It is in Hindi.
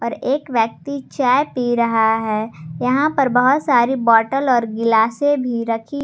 और एक व्यक्ति चाय पी रहा है यहां पर बहुत सारी बॉटल और गिलासे भी रखी--